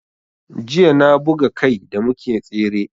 Jiya na buga kai da muke tsere